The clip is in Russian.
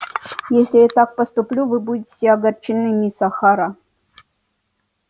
если я так поступлю вы будете огорчены мисс охара